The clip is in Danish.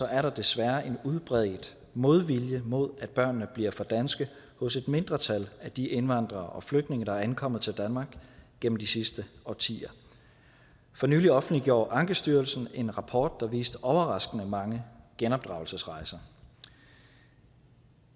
er der desværre en udbredt modvilje mod at børnene bliver for danske hos et mindretal af de indvandrere og flygtninge der er ankommet til danmark gennem de sidste årtier for nylig offentliggjorde ankestyrelsen en rapport der viste overraskende mange genopdragelsesrejser